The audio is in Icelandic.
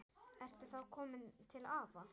Ertu þá kominn til afa?